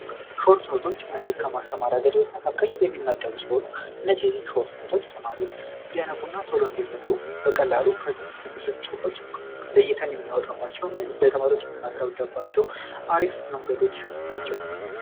ሾርቱኖቶች እነዚህ ከማስተማሪያ መንገዶች መካከል የሚመደቡ ሲሆኑ እነዚህ ሰዎች ተማሪዎች እንዲያነቡና ቶሎ እንዲረዱ በቀላሉ ለተማሪዎች የምናስረዳባቸው መንገዶች ናቸው።